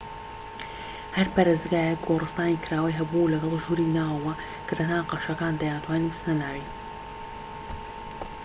هەر پەرستگایەک گۆرستانی کراوەی هەبوو لەگەڵ ژووری ناوەوە کە تەنها قەشەکان دەیانتوانی بچنە ناوی